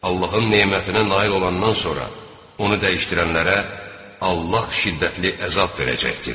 Allahın nemətinə nail olandan sonra onu dəyişdirənlərə Allah şiddətli əzab verəcəkdir.